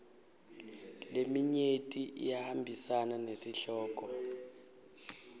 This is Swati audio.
leminyenti iyahambisana nesihloko